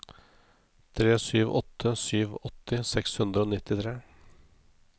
tre sju åtte sju åtti seks hundre og nittitre